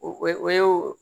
O ye o